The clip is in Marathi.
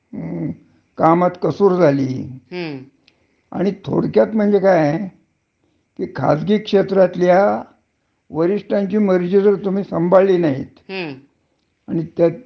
त्याच तुमच्यावर नाराजी झाली, हं. तर तो तुम्हाला कुठल्याही क्षणी नोकरीवरन घरी जा, अस सांगू शकतो. हं. हा. तर,